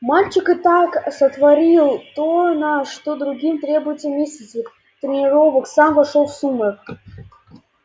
мальчик и так сотворил то на что другим требуются месяцы тренировок сам вошёл в сумрак